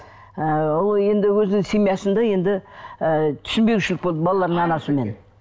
ы ол енді өзінің семьясында енді ы түсінбеушілік болды балалардың анасымен